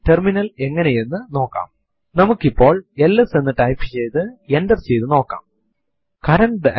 system ത്തിന്റെ തീയതിയും സമയവും അറിയാൻ നമുക്ക് താല്പര്യം ഉണ്ടായിരിക്കാംഇതിനുവേണ്ടി നമുക്ക് ഡേറ്റ് കമാൻഡ് ഉണ്ട്